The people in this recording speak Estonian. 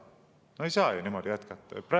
No ei saa niimoodi jätkata!